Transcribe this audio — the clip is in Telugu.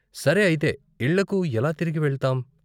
సరే, అయితే ఇళ్ళకు ఎలా తిరిగి వెళ్తాం?